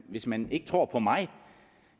hvis man ikke tror mig